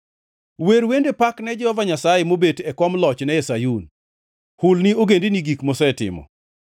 Wer wende pak ne Jehova Nyasaye, mobet e kom lochne e Sayun; hul ni ogendini gik mosetimo.